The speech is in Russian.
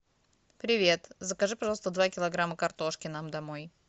привет закажи пожалуйста два килограмма картошки нам домой